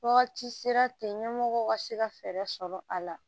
Wagati sera ten ɲɛmɔgɔw ka se ka fɛɛrɛ sɔrɔ a la